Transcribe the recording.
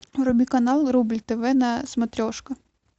вруби канал рубль тв на смотрешка